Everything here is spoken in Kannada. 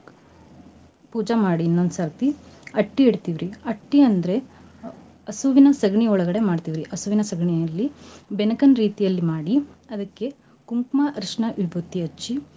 ಪೂಜಾ ಮಾಡಿ ಇನ್ನೊಂದ ಸರ್ತಿ ಅಟ್ಟಿ ಇಡ್ತಿವ್ ರಿ ಅಟ್ಟಿ ಅಂದ್ರೆ ಹಸುವಿನ ಸಗಣಿ ಒಳ್ಗಡೆ ಮಾಡ್ತಿವ್ ರಿ. ಹಸುವಿನ ಸಗಣಿಯಲ್ಲಿ ಬೆನಕನ್ ರೀತಿಯಲ್ಲಿ ಮಾಡಿ ಅದ್ಕೇ ಕುಂಕ್ಮಾ ಅರ್ಶನ ವಿಭೂತಿ ಹಚ್ಚಿ.